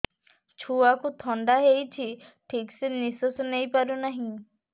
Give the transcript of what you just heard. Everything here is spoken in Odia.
ଛୁଆକୁ ଥଣ୍ଡା ହେଇଛି ଠିକ ସେ ନିଶ୍ୱାସ ନେଇ ପାରୁ ନାହିଁ